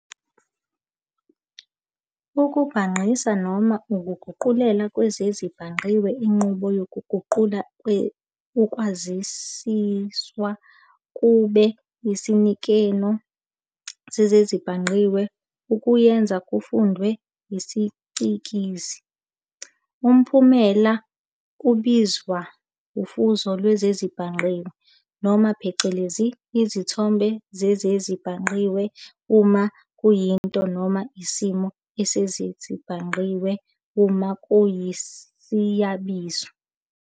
Ukubhangqisa noma Ukuguqulela kwezezibhangqiwe inqubo yokuguqula ukwaziswa kube isinikino sezezibhangqiwe, i.e. ukuyenza ifundwe isicikizi. Umphumela ubizwa ufuzo lwezezibhangqiwe, noma phecelezi, isithombe sezezibhangqiwe uma kuyinto, noma isimo sezezibhangqiwe uma kuyisiyabizo.